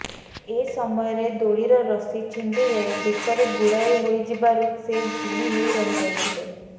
ଏ ସମୟରେ ଦୋଳିର ରଶି ଛିଣ୍ଡିଯାଇ ବେକରେ ଗୁଡ଼ାଇ ହୋଇଯିବାରୁ ସେ ଝୁଲି ହୋଇ ରହି ଯାଇଥିଲେ